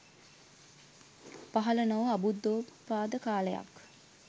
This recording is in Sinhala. පහළ නොවූ අබුද්ධෝත්පාද කාලයක්.